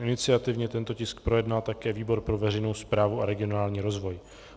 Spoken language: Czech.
Iniciativně tento tisk projednal také výbor pro veřejnou správu a regionální rozvoj.